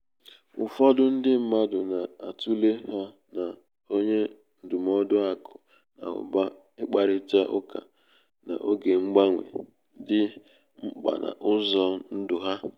ụfọdụ ndi mmadụ na-atụle ha na onye ndụmọdụ aku na uba ikparita uka n’oge mgbanwe um dị um mkpa n’ụzọ um ndụ ha.